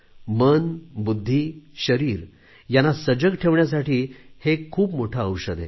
मन बुद्धी शरीर यांना सजग ठेवण्यासाठी हे एक खूप मोठे औषध आहे